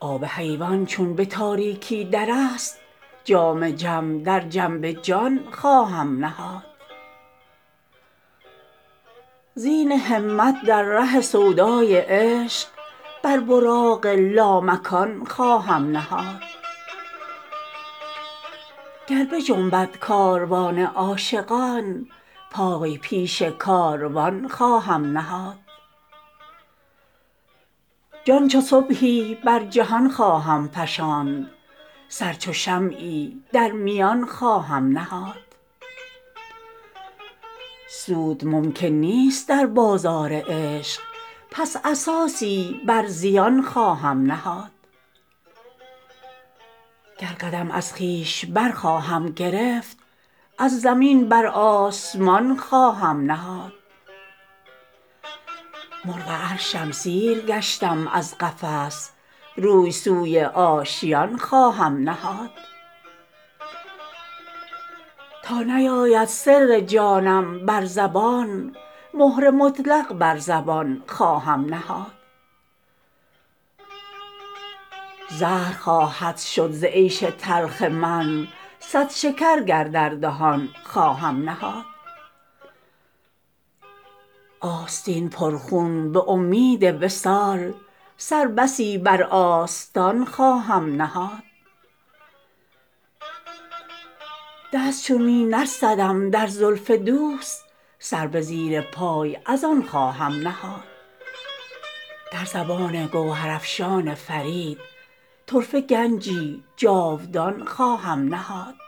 آب حیوان چون به تاریکی در است جام جم در جنب جان خواهم نهاد زین همت در ره سودای عشق بر براق لامکان خواهم نهاد گر بجنبد کاروان عاشقان پای پیش کاروان خواهم نهاد جان چو صبحی بر جهان خواهم فشاند سر چو شمعی در میان خواهم نهاد سود ممکن نیست در بازار عشق پس اساسی بر زیان خواهم نهاد گر قدم از خویش برخواهم گرفت از زمین بر آسمان خواهم نهاد مرغ عرشم سیر گشتم از قفس روی سوی آشیان خواهم نهاد تا نیاید سر جانم بر زبان مهر مطلق بر زبان خواهم نهاد زهر خواهد شد ز عیش تلخ من صد شکر گر در دهان خواهم نهاد آستین پر خون به امید وصال سر بسی بر آستان خواهم نهاد دست چون می نرسدم در زلف دوست سر به زیر پای از آن خواهم نهاد در زبان گوهرافشان فرید طرفه گنجی جاودان خواهم نهاد